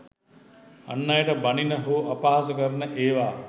අන් අයට බණින හෝ අපහාස කරන ඒවා